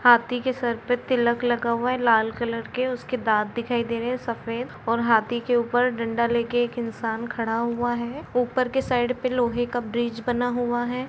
हाथी के सर पे तिलक लगा हुआ हैं लाल कलर के उसके दांत दिखाय दे रहे हैं सफ़ेद और हाथी के ऊपर एक डंडा लेके एक इंसान खड़ा हुआ हैं। ऊपर के साईड में लोहे का ब्रिज बना हुआ है।